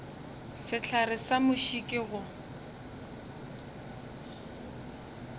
sehlare sa muši ke go